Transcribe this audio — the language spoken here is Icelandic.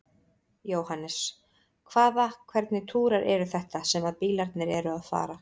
Jóhannes: Hvaða, hvernig túrar eru þetta sem að bílarnir eru að fara?